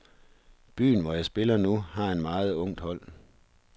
Byen, hvor jeg spiller nu, har et meget ungt hold.